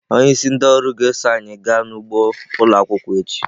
Onyeisi ndị ọrụ ga-eso anyị gaa n'ugbo ụlọ akwụkwọ echi.